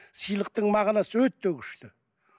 сыйлықтың мағынасы өте күшті